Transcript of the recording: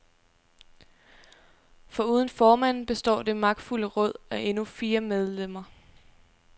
Foruden formanden består det magtfulde råd af endnu fire medlemmer.